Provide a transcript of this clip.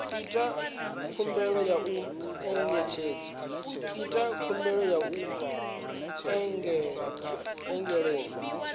ita khumbelo ya u engedzelwa